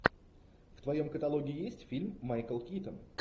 в твоем каталоге есть фильм майкл китон